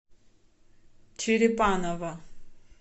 черепаново